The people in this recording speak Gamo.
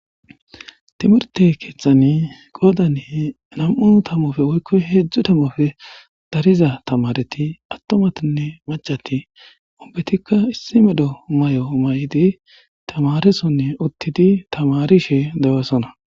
timirte keeththani goodani nam7u tamofe woykko hedzdzu tamofe dariza tamareti attomatinne macati obbetikka issi medho may'o may'idi tamaresonne uttidi tamarishe dewasona.